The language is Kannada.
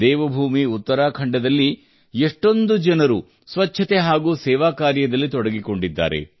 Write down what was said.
ದೇವಭೂಮಿ ಉತ್ತರಾಖಂಡದಲ್ಲಿ ಎಷ್ಟೊಂದು ಜನರು ಸ್ವಚ್ಛತೆ ಹಾಗೂ ಸೇವಾ ಕಾರ್ಯದಲ್ಲಿ ತೊಡಗಿಕೊಂಡಿದ್ದಾರೆ